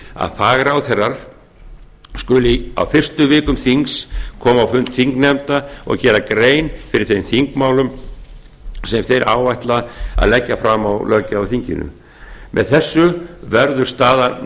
að fagráðherrar skuli á fyrstu vikum þings koma á fund þingnefnda og gera grein fyrir þeim þingmálum sem þeir áætla að leggja fram á löggjafarþinginu með því verður staða